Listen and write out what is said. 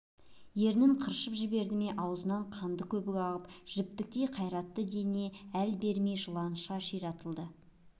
ернін қыршып жіберді ме аузынан қанды көбік ағып жіптіктей қайратты дене әл бермей жыланша ширатылды